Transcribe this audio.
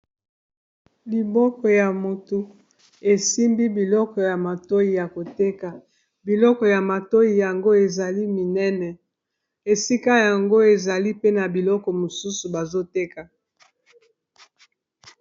Liboko ya moto esimbi biloko ya matoi ya koteka biloko ya matoi yango ezali minene esika yango ezali pena biloko mosusu bazoteka.